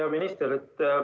Hea minister!